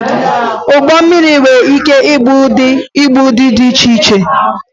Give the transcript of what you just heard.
Ụgbọ mmiri nwere ike ìbú ụdị íbú dị iche iche